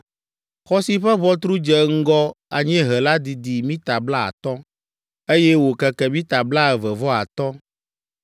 Xɔ si ƒe ʋɔtru dze ŋgɔ anyiehe la didi mita blaatɔ̃, eye wòkeke mita blaeve vɔ atɔ̃.